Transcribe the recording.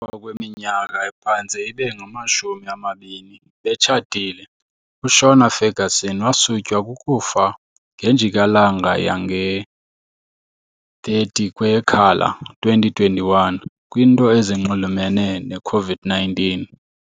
Emva kweminyaka ephantse ibe ngama-shumi amabini betshatile, uShona Ferguson wasutywa kukufa ngenjikalanga yange ye-30 kweyeKhala 2021 kwnto ezinxulumene ne -COVID-19 .